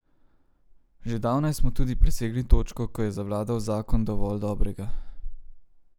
Že zdavnaj smo tudi presegli točko, ko je zavladal zakon dovolj dobrega.